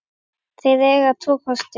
Þeir eiga tvo kosti.